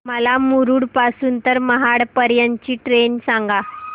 मला मुरुड पासून तर महाड पर्यंत ची ट्रेन सांगा